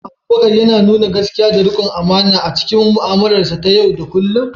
Shin Abubakar yana nuna gaskiya da riƙon amana a cikin mu'amalarsa ta yau da kullum?